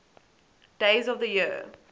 days of the year